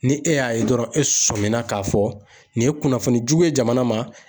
Ni e y'a ye dɔrɔn e sɔmin na ka fɔ nin ye kunnafoni jugu ye jamana ma